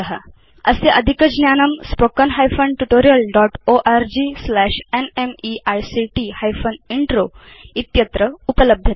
अस्य अधिकज्ञानम् spoken hyphen tutorial dot org slash NMEICT hyphen intro इत्यत्र उपलभ्यते